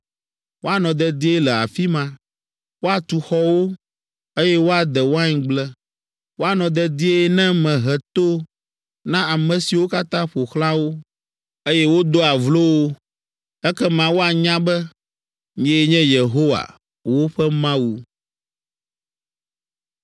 Woanɔ dedie le afi ma, woatu xɔwo, eye woade waingble, woanɔ dedie ne mehe to na ame siwo katã ƒo xlã wo, eye wodoa vlo wo. Ekema woanya be, nyee nye Yehowa, woƒe Mawu.’ ”